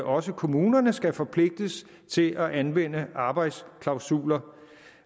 også kommunerne skal forpligtes til at anvende arbejdsklausuler